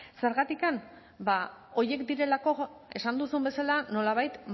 zergatik ba horiek direlako esan duzun bezala nolabait